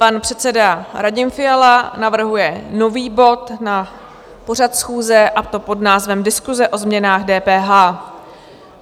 Pan předseda Radim Fiala navrhuje nový bod na pořad schůze, a to pod názvem Diskuse o změnách DPH.